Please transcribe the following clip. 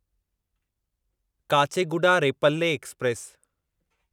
Kacheguda Repalle express